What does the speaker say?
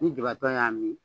Ni jibatɔ y'a min